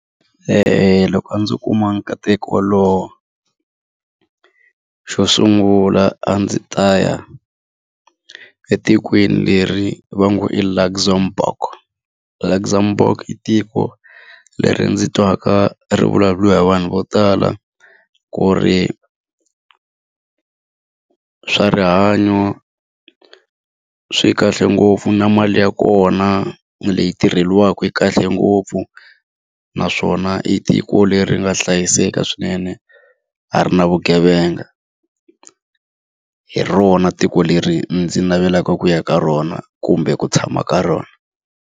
loko a ndzo kuma nkateko wolowo, xo sungula a ndzi ta ya etikweni leri va ngo i Luxemboug. Luxemboug i tiko leri ndzi twaka ri vulavuriwa hi vanhu vo tala ku ri swa rihanyo swi kahle ngopfu na mali ya kona leyi tirheriwaka yi kahle ngopfu naswona i tiko leri nga hlayiseka swinene, a ri na vugevenga. Hi rona tiko leri ndzi navelaka ku ya ka rona kumbe ku tshama ka rona.